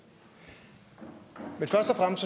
men jeg